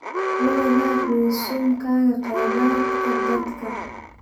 La wadaag resumekaaga kheyraadka dadka.